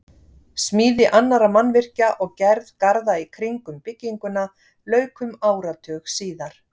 Smíði annarra mannvirkja og gerð garða í kring um bygginguna lauk um áratug síðar.